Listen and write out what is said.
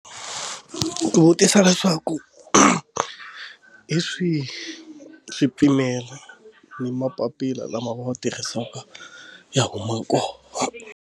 Ku vutisa leswaku hi swihi swipimelo ni mapapila lama va tirhisaka ya huma hinkwawo.